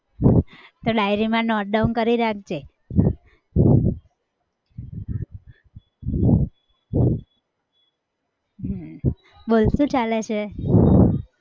તો diary માં note down કરી રાખજે. હમ બોલ શું ચાલે છે?